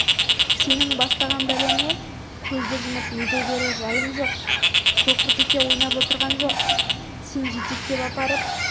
сенің бастаған бәлеңе көзді жұмып ере берер жайым жоқ соқыртеке ойнап отырғам жоқ сен жетектеп апарып